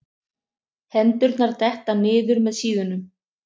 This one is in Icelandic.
Hendurnar detta niður með síðunum.